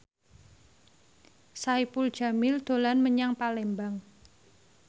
Saipul Jamil dolan menyang Palembang